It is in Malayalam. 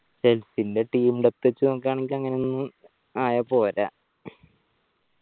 Chelsea ന്റെ team ല് ച്ച് നോക്കാനെങ്കി അങ്ങനൊന്നും ആയ പോര